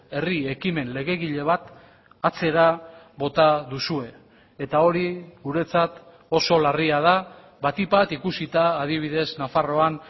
herri ekimen legegile bat atzera bota duzue eta hori guretzat oso larria da batik bat ikusita adibidez nafarroan